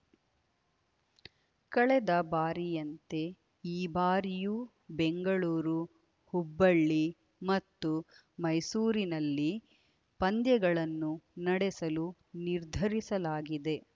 ಕಳೆದ ಬಾರಿಯಂತೆ ಈ ಬಾರಿಯೂ ಬೆಂಗಳೂರು ಹುಬ್ಬಳ್ಳಿ ಮತ್ತು ಮೈಸೂರಿನಲ್ಲಿ ಪಂದ್ಯಗಳನ್ನು ನಡೆಸಲು ನಿರ್ಧರಿಸಲಾಗಿದೆ